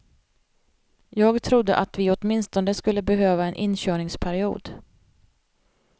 Jag trodde att vi åtminstone skulle behöva en inkörningsperiod.